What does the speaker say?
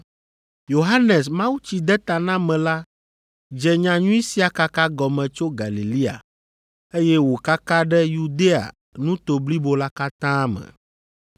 Yohanes Mawutsidetanamela dze nyanyui sia kaka gɔme tso Galilea, eye wòkaka ɖe Yudea nuto blibo la katã me.